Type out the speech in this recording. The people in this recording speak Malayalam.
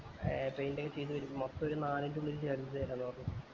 ഏർ paint ഒക്കെ ചെയ്തു വരുമ്പോ മൊത്തം ഒരു നാലിൻറെ ആക്കി തറ പറഞ്ഞു